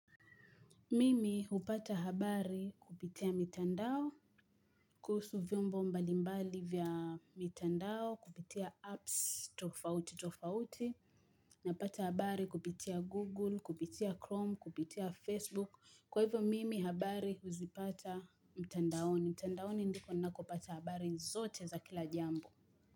Mimi hupata habari kupitia mitandao, kuhusu vyombo mbalimbali vya mitandao, kupitia apps, tofauti, tofauti, napata habari kupitia Google, kupitia Chrome, kupitia Facebook. Kwa hivyo, Mimi habari huzipata mitandaoni. Mitandaoni ndiko ninakopata habari zote za kila jambo.